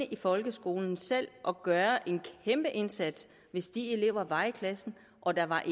i folkeskolen og gøre en kæmpeindsats hvis de elever var i klassen og der var